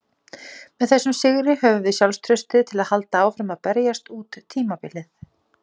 Með þessum sigri höfum við sjálfstraustið til að halda áfram að berjast út tímabilið.